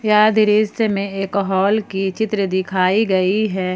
यह दृश्य में एक हॉल की चित्र दिखाई गयी है।